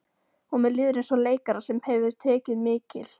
Og mér líður eins og leikara sem hefur tekið mikil